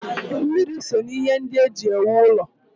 Mmiri so n'ihe ndị e ji ewu ụlọ.